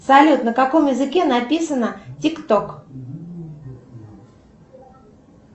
салют на каком языке написано тик ток